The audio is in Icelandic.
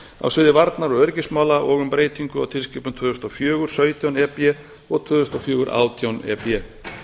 á sviði varnar og öryggismála og um breytingu á tilskipunum tvö þúsund og fjögur sautján e b og tvö þúsund og fjögur átján e b